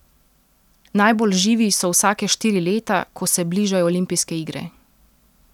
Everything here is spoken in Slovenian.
Najbolj živi so vsake štiri leta, ko se bližajo olimpijske igre.